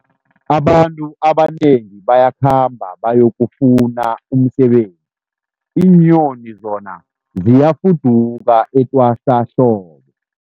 Abantu abanengi bayakhamba bayokufuna umsebenzi, iinyoni zona ziyafuduka etwasahlobo.